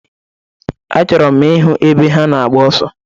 Achọrọ m ịhụ ebe ha na-agba ọsọ.